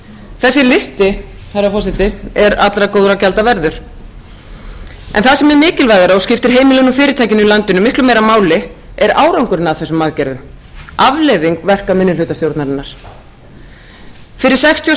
þessi listi herra forseti er allra góðra gjalda verður en það sem er mikilvægara og skiptir heimilin og fyrirtækin í landinu miklu meira máli er árangurinn af þessum aðgerðum afleiðing verka minnihlutastjórnarinnar fyrir sextíu og